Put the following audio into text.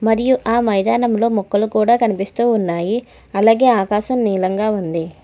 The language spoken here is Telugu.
మరియు ఆ మైదానంలో మొక్కలు కూడా కనిపిస్తూ ఉన్నాయి అలాగే ఆకాశం నీలంగా ఉంది.